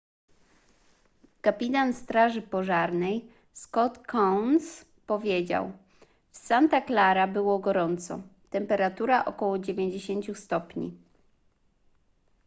kapitan straży pożarnej scott kouns powiedział w santa clara było gorąco temperatura około 90 stopni